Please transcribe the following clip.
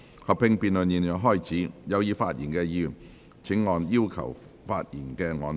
合併辯論現在開始，有意發言的議員請按"要求發言"按鈕。